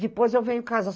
Depois eu venho em casar.